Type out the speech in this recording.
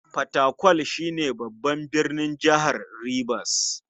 Fatakwal shi ne babban birnin jihar Ribas.